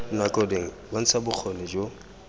dinako dingwe bontsha bokgoni jo